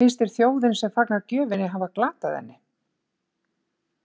Finnst þér þjóðin sem fagnar gjöfinni hafa glatað henni?